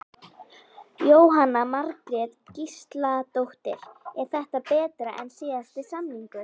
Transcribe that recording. Jóhanna Margrét Gísladóttir: Er þetta betra en síðasti samningur?